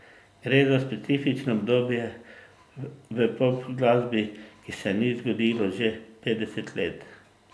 Gre za specifično obdobje v popglasbi, ki se ni zgodilo že petdeset let.